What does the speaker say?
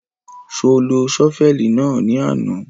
Ṣo lo ṣọ́fẹ̀lì náà ní àná?